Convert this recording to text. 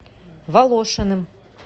волошиным